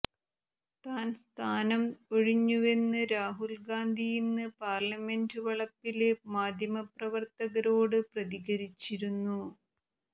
താൻ സ്ഥാനം ഒഴിഞ്ഞുവെന്ന് രാഹുല് ഗാന്ധി ഇന്ന് പാര്ലമെന്റ് വളപ്പില് മാധ്യമപ്രവര്ത്തകരോട് പ്രതികരിച്ചിരുന്നു